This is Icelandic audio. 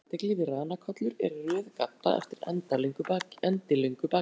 Það fyrsta sem vekur athygli við ranakollur er röð gadda eftir endilöngu bakinu.